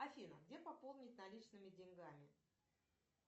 афина где пополнить наличными деньгами